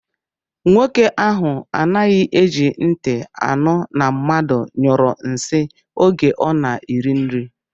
Nwoke ahụ anaghị eji ntị anụ na mmadụ nyụrụ nsị oge ọ na-eri nri